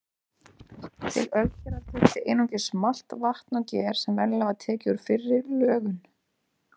Til ölgerðar þurfti einungis malt, vatn og ger sem venjulega var tekið úr fyrri lögun.